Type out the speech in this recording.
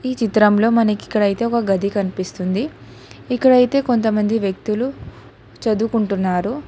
ఈ చిత్రంలో మనకికడైతే ఒక గది కనిపిస్తుంది ఇక్కడైతే కొంతమంది వ్యక్తులు చదువుకుంటున్నారు.